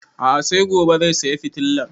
A'a sai gobe sai saya fitilan